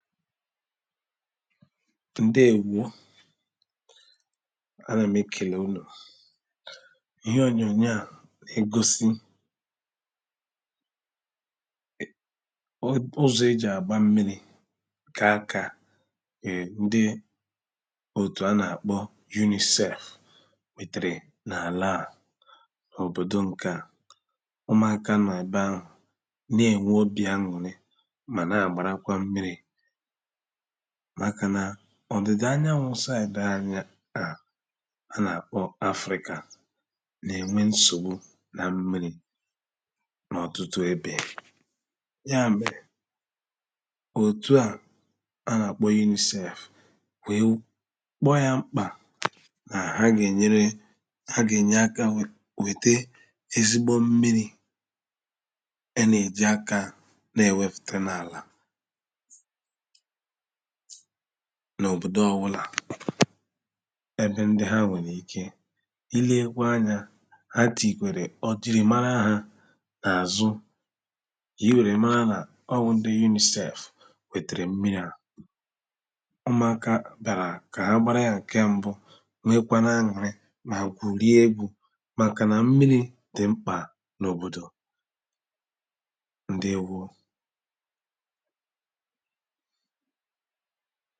Ǹdeēwo A nà m ekèle unū Ihe ònyònyò à nà-ègosi I.. ụ.. ụzọ̀ e jì àgba mmiri kakà E ndi òtù a nà-àkpo UNICEF Wètèrè n’ àlà à, n’ òbòdò ŋ̀kè à Ụmụ̀aka nọ̀ ebe ahù n’ ènwe obì aṅụ̀rị ma nà-àgbarakwa mmiri Màkà nà, ọ̀dìdà anyanwū saidi anyị̄ à A nà-àkpo Afrīkà nà ènwe nsògbu nà mmiri Na ọ̀tụtụ ebe, yà mèrè Òtu à, a nà-àkpo UNICEF Weē Kpoō yà mkpà nā ha gà ènyere, ha ènye akā wète ezigbo mmiri A nà ejì aka n’ èwefùta nà àlà N’ òbòdò ọ wụlà Ebe ndị ha nwèrè ike I lekwa anyā ha tìyìkwèrè ò jìrì mara ha n’ àzụ Ka i were mara na, o wu ndị UNICEF wetere mmiri a Umùaka bị̀ārà kà ha gbara ya ǹke mbu, nwekwana aṅụ̀rị mà gwùriegwu màkà nà mmiri dị mkpà n’ òbòdò Ǹdeēwo